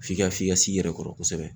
F'i ka f'i ka s'i yɛrɛ kɔrɔ kosɛbɛ